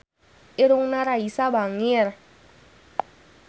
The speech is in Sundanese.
Irungna Raisa bangir